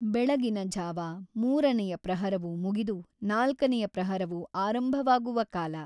ಬೆಳಗಿನ ಝಾವ ಮೂರನೆಯ ಪ್ರಹರವು ಮುಗಿದು ನಾಲ್ಕನೆಯ ಪ್ರಹರವು ಆರಂಭವಾಗುವ ಕಾಲ.